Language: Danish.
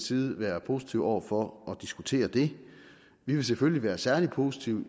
side være positive over for at diskutere det vi vil selvfølgelig være særlig positive